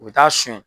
U bɛ taa sonyɛn